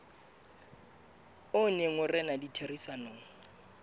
o neng o rena ditherisanong